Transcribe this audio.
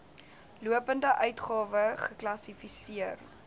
lopende uitgawe geklassifiseer